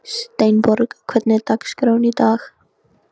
Steinborg, hvernig er dagskráin í dag?